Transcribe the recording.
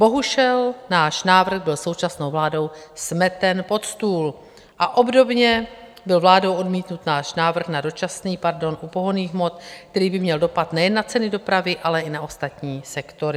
Bohužel náš návrh byl současnou vládou smeten pod stůl a obdobně byl vládou odmítnut náš návrh na dočasný pardon u pohonných hmot, který by měl dopad nejen na ceny dopravy, ale i na ostatní sektory.